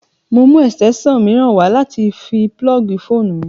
Mo mú ẹ̀sìtẹ́ṣàn mìíràn wá láti fi púlọ́ọ̀gì fóònù mi